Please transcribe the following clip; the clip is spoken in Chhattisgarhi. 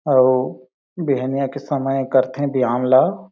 अउ बिहनिया के समय कर थे व्याम ला--